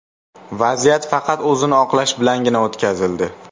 Vaziyat faqat o‘zini oqlash bilangina o‘tkazildi.